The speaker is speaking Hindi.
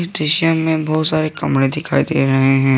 दृश्य में बहुत सारे कमरे दिखाई दे रहे हैं।